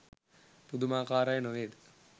පුදුමාකාරයි නොවේද?